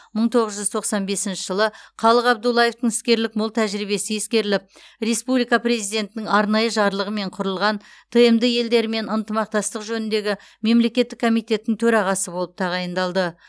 мың тоғыз жүз тоқсан бесінші жылы қалық абдуллаевтың іскерлік мол тәжірибесі ескеріліп республика президентінің арнайы жарлығымен құрылған тмд елдерімен ынтымақтастық жөніндегі мемлекеттік комитеттің төрағасы болып тағайындалды